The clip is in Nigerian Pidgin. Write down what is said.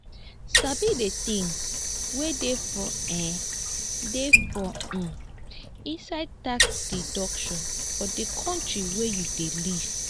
sabi the things wey dey for um dey for um inside tax deduction for di country wey you dey live